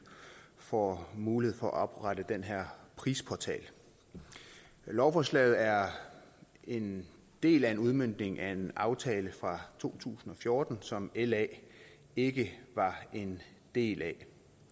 får mulighed for at oprette den her prisportal lovforslaget er en del af en udmøntning af en aftale fra to tusind og fjorten som la ikke var en del af